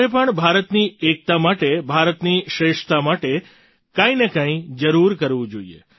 તમારે પણ ભારતની એકતા માટે ભારતની શ્રેષ્ઠતા માટે કંઈ ને કંઈ જરૂર કરવું જોઈએ